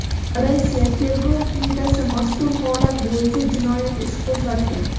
Rossiya tergov qo‘mitasi mazkur holat bo‘yicha jinoyat ishi qo‘zg‘atgan.